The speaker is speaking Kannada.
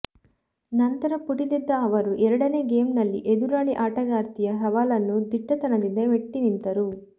ನಂತರ ಪುಟಿದೆದ್ದ ಅವರು ಎರಡನೇ ಗೇಮ್ನಲ್ಲಿ ಎದುರಾಳಿ ಆಟಗಾರ್ತಿಯ ಸವಾಲನ್ನು ದಿಟ್ಟತನದಿಂದ ಮೆಟ್ಟಿ ನಿಂತರು